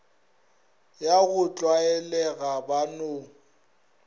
ya go tlwaelega ba no